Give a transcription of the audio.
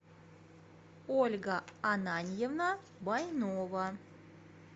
ольга ананьевна байнова